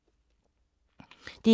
DR1